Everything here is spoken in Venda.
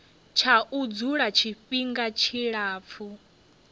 tsha u dzula tshifhinga tshilapfu